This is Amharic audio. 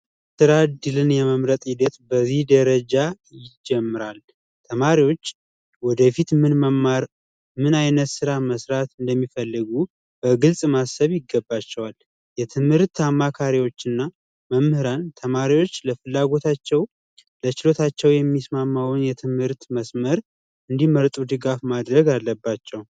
ጥረት ድልን የመምረጥ ሂደት በዚህ ደረጃ ይጀመራ። ተማሪዎች ወደፊት ምን መማር ምን ዓይነት ሥራ መሥራት እንደሚፈልጉ በግልጽ ማሰብ ይገባቸዋል። የትምህርት አማካሪዎችና መምህራን ተማሪዎች ለፍላጎታቸው በችሎታቸው የሚስማማውን የትምህርት መስመር እንዲመረጡ ድጋፍ ማድረግ አለባቸው።